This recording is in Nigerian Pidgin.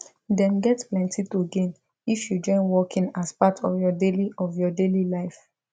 them get plenty to gain if you join walking as part of your daily of your daily life